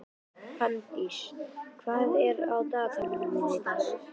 Fanndís, hvað er á dagatalinu mínu í dag?